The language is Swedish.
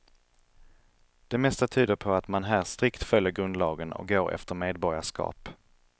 Det mesta tyder på att man här strikt följer grundlagen och går efter medborgarskap.